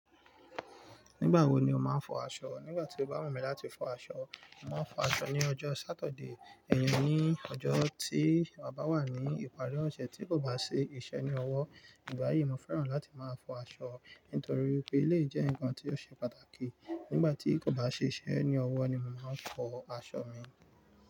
Nígbà wo ni o máa ń fọ aṣọ? Nígbà tí o bá wù mí láti fọ aṣọ, màá fọ aṣọ ní ọjọ́ Sátọ̀de, ẹyin ní ọjọ́ tí bàbá wà ní ìparí ọ̀sẹ̀ tí kò bá ṣe iṣẹ́ ní ọwọ́. Nígbà yìí, mo fẹ́ràn láti máa fọ aṣọ nítorí wípé eléyi jẹ́ nǹkan tí ó ṣe pàtàkì. Nígbà tí kò bá ṣe iṣẹ́ ní ọwọ́ ni mo màá fọ aṣọ mi.